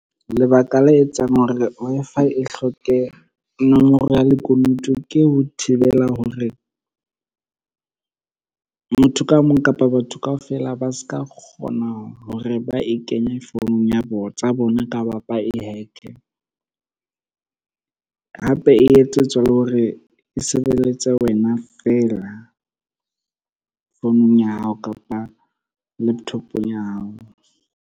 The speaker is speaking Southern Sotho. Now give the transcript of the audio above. Lebaka la etsang hore Wi-Fi e hloke nomoro ya lekunutu ke ho thibela hore, motho ka mong kapa batho kaofela ba ska kgona hore ba e kenye founung tsa bona kapa ba e hack-e. Hape e etsetswa le hore e sebeletse wena fela founung ya hao kapa laptop-ong ya hao.